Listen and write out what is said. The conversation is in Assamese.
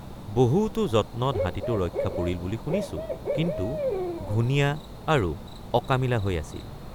বহুতো যত্নত হাতীটো ৰক্ষা পৰিল বুলি শুনিছোঁ কিন্তু ঘূণীয়া আৰু অকামিলাহৈ আছিল।